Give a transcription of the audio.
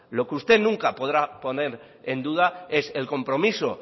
lo que usted nunca podrá poner en duda es el compromiso